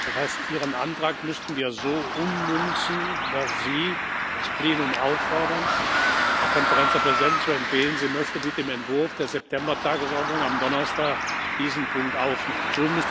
Das heißt, Ihren Antrag müssten wir so ummünzen, dass Sie das Plenum auffordern, der Konferenz der Präsidenten zu empfehlen, sie möchte bitte im Entwurf der September Tagesordnung am Donnerstag diesen Punkt aufnehmen.